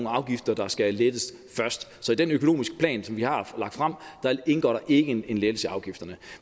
afgifter der skal lettes først så i den økonomiske plan som vi har lagt frem indgår der ikke en lettelse af afgifterne